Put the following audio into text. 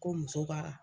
Ko muso ka